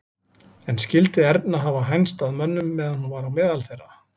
En skyldi Erna hafa hænst að mönnum meðan hún var á meðal þeirra?